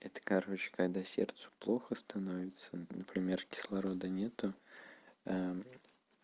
это короче когда сердцу плохо становится например кислорода нет